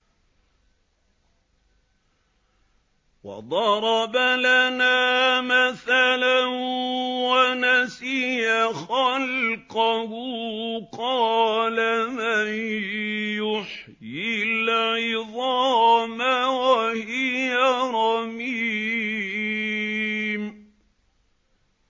وَضَرَبَ لَنَا مَثَلًا وَنَسِيَ خَلْقَهُ ۖ قَالَ مَن يُحْيِي الْعِظَامَ وَهِيَ رَمِيمٌ